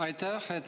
Aitäh!